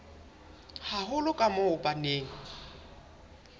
haholo ka moo ba neng